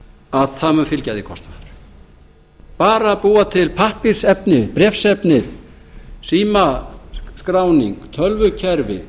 að það mun fylgja því kostnaður bara að búa til pappírsefni bréfsefnið símaskráning tölvukerfi